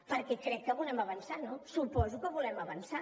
perquè crec que volem avançar no suposo que volem avançar